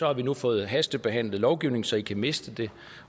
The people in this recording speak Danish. har vi nu fået hastebehandlet lovgivning så de kan miste det